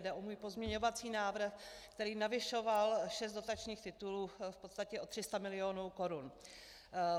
Jde o můj pozměňovací návrh, který navyšoval šest dotačních titulů v podstatě o 300 milionů korun.